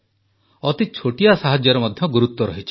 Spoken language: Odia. ଅତି ଛୋଟିଆ ସାହାଯ୍ୟର ମଧ୍ୟ ଗୁରୁତ୍ୱ ରହିଛି